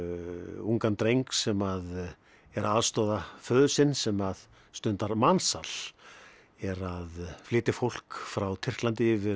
ungan dreng sem er að aðstoða föður sinn sem að stundar mansal er að flytja fólk frá Tyrklandi yfir